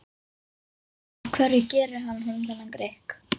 Af hverju gerir hann honum þennan grikk?